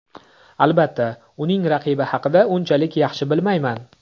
Albatta, uning raqibi haqida unchalik yaxshi bilmayman.